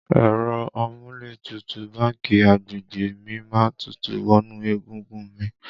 Ẹ̀rọ amúlétutù báńkì agbègbè mi má ń tutù wọnú egungun un mi